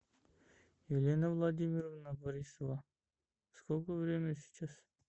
елена владимировна борисова сколько время сейчас